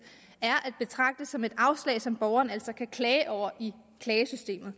er at betragte som et afslag som borgeren altså kan klage over i klagesystemet